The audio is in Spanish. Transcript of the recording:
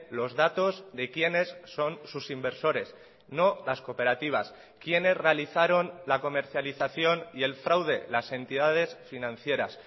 los datos de quienes son sus inversores no las cooperativas quiénes realizaron la comercialización y el fraude las entidades financieras